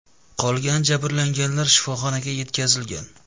Qolgan jabrlanganlar shifoxonaga yetkazilgan.